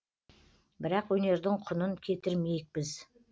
бірақ өнердің құнын кетірмейік біз